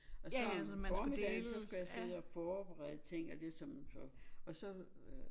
Og så om formiddagen så skulle jeg sidde og forbederede ting af det som så og så øh